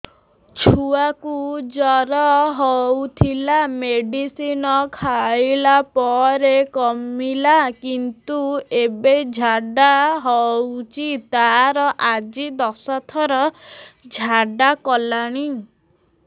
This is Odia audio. ଛୁଆ କୁ ଜର ହଉଥିଲା ମେଡିସିନ ଖାଇଲା ପରେ କମିଲା କିନ୍ତୁ ଏବେ ଝାଡା ହଉଚି ତାର ଆଜି ଦଶ ଥର ଝାଡା କଲାଣି